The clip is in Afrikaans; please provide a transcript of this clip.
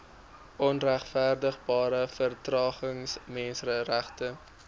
onregverdigbare vertragings menseregte